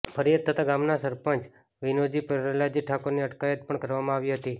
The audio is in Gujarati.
ફરિયાદ થતા ગામના સરપંચ વિનુજી પ્રહલાદજી ઠાકોરની અટકાયત પણ કરવામાં આવી હતી